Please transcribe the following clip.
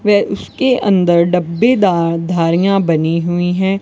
वे उसके अंदर डब्बेदार धारियां बनी हुई हैं।